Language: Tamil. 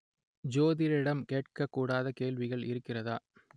ஜோதிடரிடம் கேட்கக் கூடாத கேள்வி இருக்கிறதா